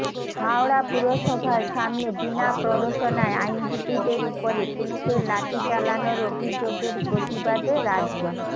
হাওড়া পুরসভার সামনে বিনা প্ররোচনায় আইনজীবীদের উপরে পুলিশের লাঠি চালানোর অভিযোগের প্রতিবাদে রাজ্য